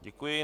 Děkuji.